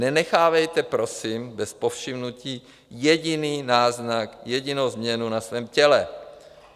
Nenechávejte prosím bez povšimnutí jediný náznak, jedinou změnu na svém těle.